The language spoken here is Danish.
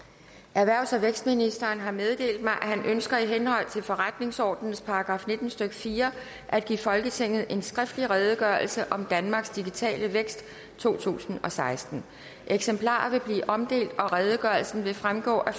erhvervs og vækstministeren har meddelt mig at han ønsker i henhold til forretningsordenens § nitten stykke fire at give folketinget en skriftlig redegørelse om danmarks digitale vækst totusinde og sekstende eksemplarer vil blive omdelt og redegørelsen vil fremgå af